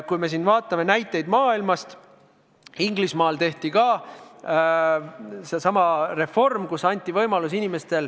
Kui me otsime näiteid mujalt maailmast, siis leiame, et Inglismaal tehti ka samasugune reform.